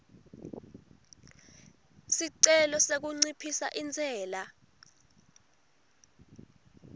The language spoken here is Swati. sicelo sekunciphisa intsela